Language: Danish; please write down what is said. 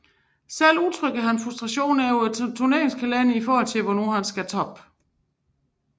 Selv udtrykte han frustration over turneringskalenderen i forhold til hvornår man skulle toppe